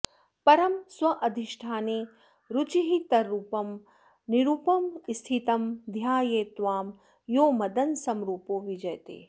परं स्वाधिष्ठाने रुचिरतररूपं निरुपमं स्थितं ध्यायेत्त्वां यो मदनसमरूपो विजयते